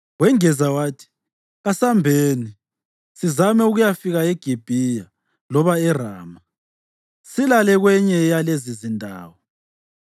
Wengeza wathi, “Kasambeni, sizame ukuyafika eGibhiya loba eRama, silale kwenye yalezizindawo.”